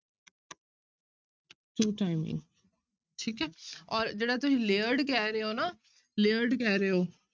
Two timing ਠੀਕ ਹੈ ਔਰ ਜਿਹੜਾ ਤੁਸੀਂ layered ਕਹਿ ਰਹੇ ਹੋ ਨਾ layered ਕਹਿ ਰਹੇ ਹੋ,